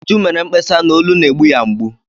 Uju mere mkpesa na olu na-egbu ya mgbu.